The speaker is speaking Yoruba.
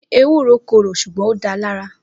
Ewúro korò ṣùgbọ́n ó dáa lára